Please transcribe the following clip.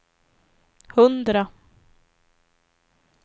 hundra